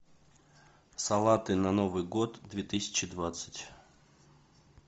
салаты на новый год две тысячи двадцать